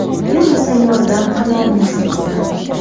U esa yordam qilolmasligini aytdi.